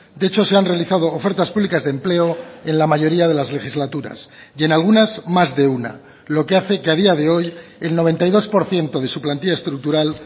de hecho se han realizado ofertas públicas de empleo en la mayoría de las legislaturas y en algunas más de una lo que hace que a día de hoy el noventa y dos por ciento de su plantilla estructural